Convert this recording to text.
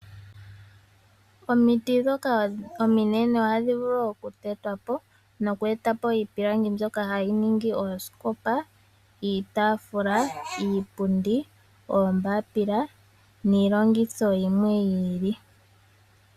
Omiti dhoka ominene ohadhi vulu oku tetwapo noku eta po iipilangi mbyoka hayi ningi oosikopa ,iitafula ,iipundi ,oombapila niilongidho yimwe yi ili.